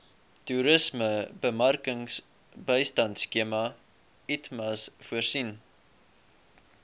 toerismebemarkingbystandskema itmas voorsien